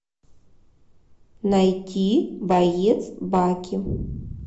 найти боец баки